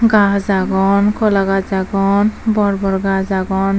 gaj agon hola gaj agon bor bor gaj agon.